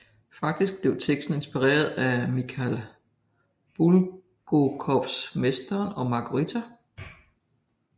Faktisk blev teksten inspireret af Mikhail Bulgakovs Mesteren og Margarita